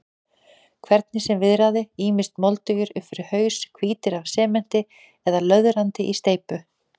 Hvernig sem viðraði, ýmist moldugir upp fyrir haus, hvítir af sementi eða löðrandi í steypu.